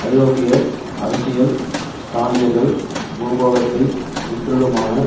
ஐரோப்பிய அரசியல் ஸ்தானிகர்கள் பூகோளத்தைச் சுற்றிலுமான